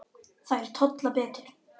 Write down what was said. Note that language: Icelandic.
Þær tolla betur.